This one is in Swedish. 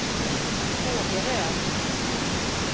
Kågeröd